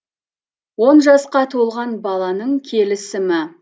он жасқа толған баланың келісімі